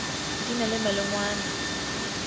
di na le malengwana a